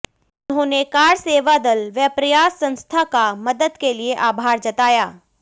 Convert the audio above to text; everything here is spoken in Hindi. उन्होंने कार सेवादल व प्रयास संस्था का मदद के लिए आभार जताया